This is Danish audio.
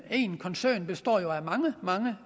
én koncern består jo af mange mange